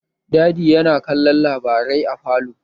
Daddy ya na kallon labarai a falo